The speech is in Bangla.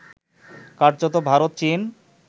কার্যত ভারত চীন